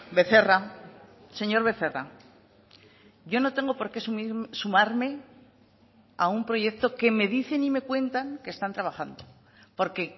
becerra señor becerra yo no tengo por qué sumarme a un proyecto que me dicen y me cuentan que están trabajando porque